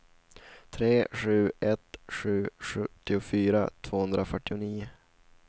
tre sju ett sju sjuttiofyra tvåhundrafyrtionio